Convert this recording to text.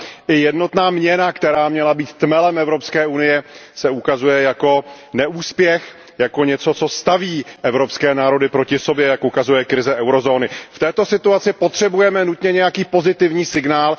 A i jednotná měna, která měla být tmelem Evropské unie, se ukazuje jako neúspěch, jako něco, co staví evropské národy proti sobě, jak ukazuje krize eurozóny. V této situaci potřebujeme nutně nějaký pozitivní signál.